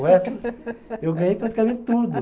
O resto, eu ganhei praticamente tudo.